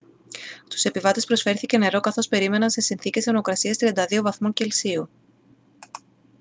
στους επιβάτες προσφέρθηκε νερό καθώς περίμεναν σε συνθήκες θερμοκρασίας 32 βαθμών κελσίου